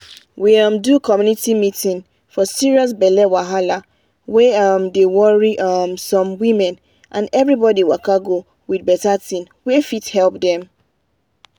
we um do community meeting for serious belle wahala wey um dey worry um some women and everybody waka go with better thing wey fit help dem.